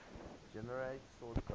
generate source code